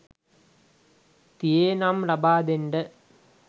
තියේ නම් ලබා දෙන්න.